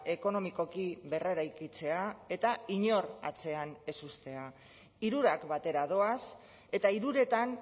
ekonomikoki berreraikitzea eta inor atzean ez uztea hirurak batera doaz eta hiruretan